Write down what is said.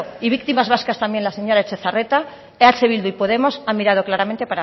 y víctimas vascas también las señora eh bildu y podemos han mirado claramente